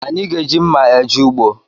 Anyị ga-eji mma eje ugbo